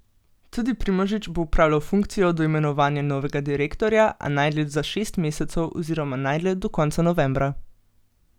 Tudi Primožič bo opravljal funkcijo do imenovanja novega direktorja, a najdlje za šest mesecev oziroma najdlje do konca novembra.